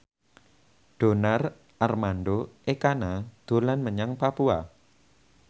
Donar Armando Ekana dolan menyang Papua